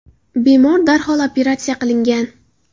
Bemor darhol operatsiya qilingan.